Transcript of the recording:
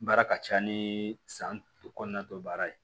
Baara ka ca ni san kɔnɔna dɔ baara ye